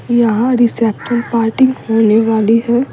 यहां reception party होने वाली है।